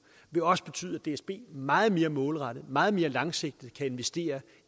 vil også betyde at dsb meget mere målrettet og meget mere langsigtet kan investere